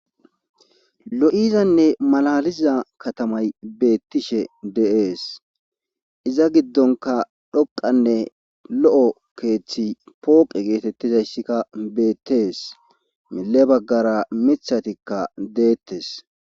lo7izanne malaliza katamay beettishe de7ees iza giddonka dhoqanne lo7o keeththi pooqe geetettizayssikka beettees mille baggara mithatikka deettes